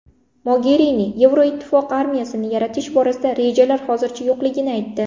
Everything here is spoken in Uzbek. Mogerini Yevroittifoq armiyasini yaratish borasida rejalar hozircha yo‘qligini aytdi.